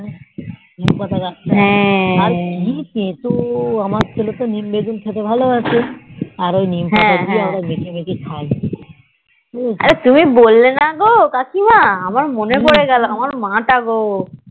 নীম পাতা গাহ তা কি তেতো আমার ছেলে তো নিমবেগুন খেতে ভালো বাসে আর ওই নীম পাতা আমরা মেখে মেখে খাই